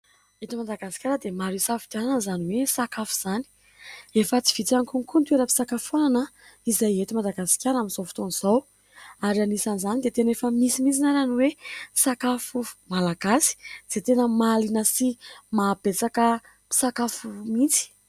Eto Madagasikara dia maro hisafidianana izany hoe sakafo izany, efa tsy vitsy ihany koa ny toeranam-pisakafoanana izay ety madagaskara amin'izao fotoana izao, ary anisan'izany dia tena efa misy mihitsy ara ny hoe sakafo malagasy izay tena mahalina sy mahabetsaka mpisakafo mihitsy.